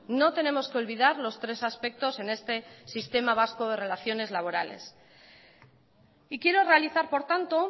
no tenemos que olvidar los tres aspectos en este sistema vasco de relaciones laborales y quiero realizar por tanto